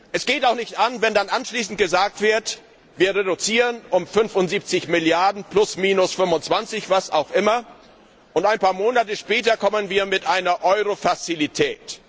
Es geht auch nicht an, wenn dann anschließend gesagt wird, wir reduzieren um 75 Milliarden 25, was auch immer, und ein paar Monate später kommen wir mit einer Eurofazilität.